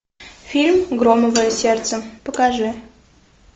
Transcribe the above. фильм громовое сердце покажи